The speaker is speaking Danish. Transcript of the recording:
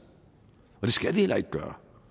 og det skal vi heller ikke gøre